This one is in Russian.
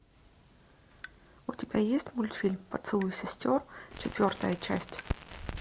у тебя есть мультфильм поцелуй сестер четвертая часть